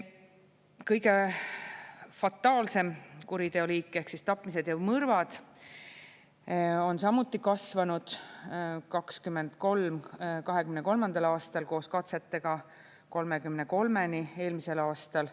Kõige fataalsem kuriteo liik ehk tapmised ja mõrvad on samuti kasvanud 2023. aastal koos katsetega 33-ni eelmisel aastal.